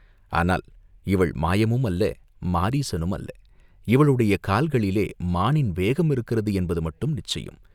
ஆனால் இவள் மாயமும் அல்ல, மாரீசனும் அல்ல இவளுடைய கால்களிலே மானின் வேகம் இருக்கிறது என்பது மட்டும் நிச்சயம்.